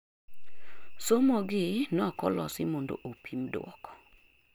somo gi nokolosi mondo opim duoko